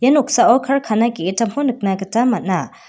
ia noksao karkana ge·gittamko nikna gita man·a.